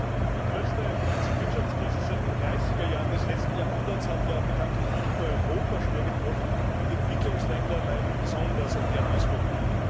Die größte Finanz und Wirtschaftskrise seit den dreißiger Jahren des letzten Jahrhunderts hat ja bekanntlich nicht nur Europa schwer getroffen. Die Entwicklungsländer leiden besonders an ihren Auswirkungen.